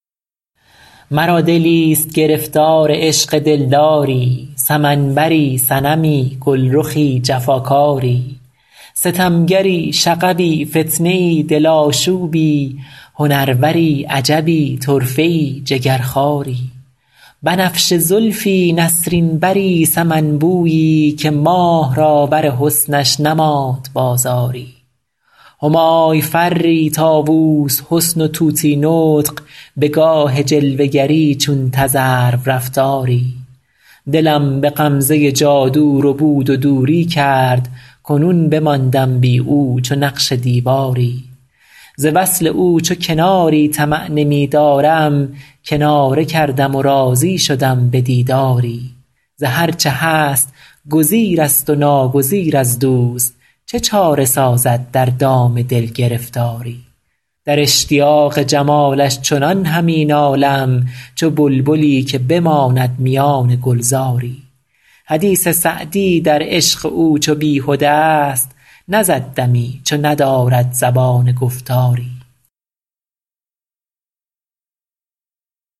مرا دلیست گرفتار عشق دلداری سمن بری صنمی گلرخی جفاکاری ستمگری شغبی فتنه ای دل آشوبی هنروری عجبی طرفه ای جگرخواری بنفشه زلفی نسرین بری سمن بویی که ماه را بر حسنش نماند بازاری همای فری طاووس حسن و طوطی نطق به گاه جلوه گری چون تذرو رفتاری دلم به غمزه جادو ربود و دوری کرد کنون بماندم بی او چو نقش دیواری ز وصل او چو کناری طمع نمی دارم کناره کردم و راضی شدم به دیداری ز هر چه هست گزیر است و ناگزیر از دوست چه چاره سازد در دام دل گرفتاری در اشتیاق جمالش چنان همی نالم چو بلبلی که بماند میان گلزاری حدیث سعدی در عشق او چو بیهده ا ست نزد دمی چو ندارد زبان گفتاری